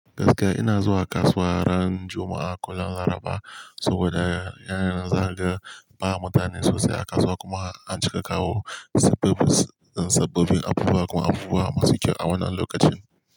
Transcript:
Gaskiya ina zuwa kasuwa ran Juma'a, ko ran Laraba saboda yana zaga ba mutane sosai a kasuwa kuma an cika kawo sababbin abubuwa kuma abubuwa masu kyau a wannan lokacin.